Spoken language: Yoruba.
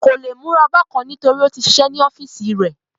Kò le múra bákan nítorí ó tí sisẹ́ ní ọ́fìsì rí